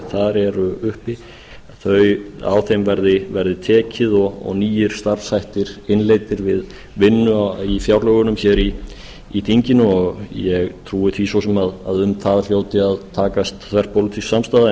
þar eru uppi að á þeim verði tekið og nýir starfshættir innleiddir við vinnu í fjárlögunum hér í þinginu ég trúi því svo sem að um það hljóti að takast þverpólitísk samstaða